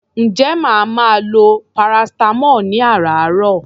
Ǹjẹ́ màá máa lo paracetamol ní àràáàrọ̀?